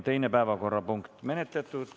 Teine päevakorrapunkt on menetletud.